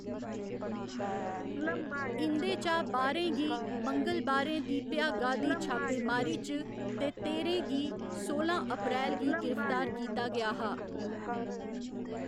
इं'दे चा बाह्‌रें गी मंगलबारें दी भ्यागा दी छापेमारी च ते तेह्‌रें गी सोलां अप्रैल गी गिरफ्तार कीता गेआ हा।